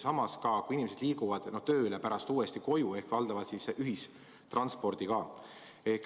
Ning inimesed sõidavad tööle ja pärast koju tagasi valdavalt ühissõidukiga.